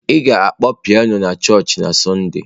Ị ga-akpọ pianọ na chọọchị na Sọnde.